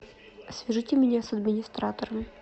свяжите меня с администратором